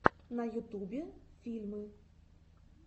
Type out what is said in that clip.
на ютубе фильмы